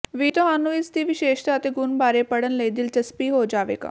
ਵੀ ਤੁਹਾਨੂੰ ਇਸ ਦੀ ਵਿਸ਼ੇਸ਼ਤਾ ਅਤੇ ਗੁਣ ਬਾਰੇ ਪੜ੍ਹਨ ਲਈ ਦਿਲਚਸਪੀ ਹੋ ਜਾਵੇਗਾ